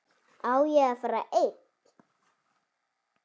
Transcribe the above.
Á ég að fara einn?